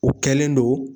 O kɛlen don